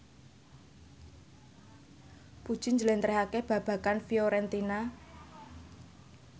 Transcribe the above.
Puji njlentrehake babagan Fiorentina